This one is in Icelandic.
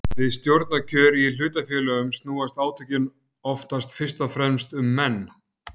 Við stjórnarkjör í hlutafélögum snúast átökin oftast fyrst og fremst um menn.